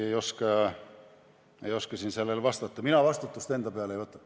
Ma tõesti ei oska siin sellele vastata, mina vastutust enda peale ei võta.